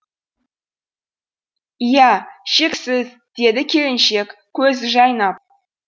ия шексіз деді келіншек көзі жайнап